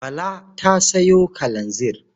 Bala ta sayo kalanzir.